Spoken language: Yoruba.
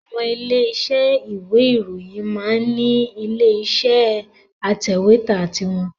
Àwọn ilé-isẹ́ ìwé ìròyìn máa ń ní ilé iṣẹ́ atẹ̀wẹ́tà ti wọn